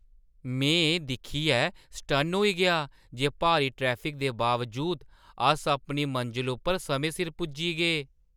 में एह् दिक्खियै सटन्न होई गेआ जे भारी ट्रैफिक दे बावजूद, अस अपनी मंजला उप्पर समें सिर पुज्जी गे! "